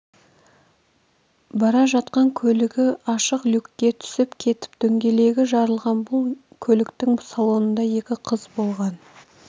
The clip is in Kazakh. бара жатқан көлігі ашық люкке түсіп кетіп дөңгелегі жарылған бұл көліктің салонында екі қыз болған